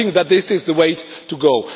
I think that this is the way to go.